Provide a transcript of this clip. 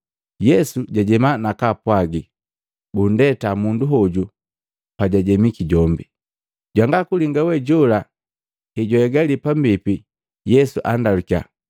Yesu jajema, nakaapwagi bundeta mundu hoju pajajemiki jombi. Jwanga kulinga we jola hejwahegaliya pambipi, Yesu andalukiya,